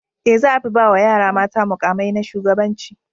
E, za a fi ba wa yara mata muƙamai na shugabanci.